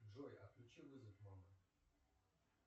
джой отключи вызов мамы